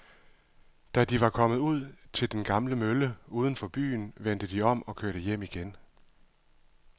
Da de var kommet ud til den gamle mølle uden for byen, vendte de om og kørte hjem igen.